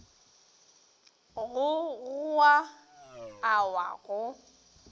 go goa a wa go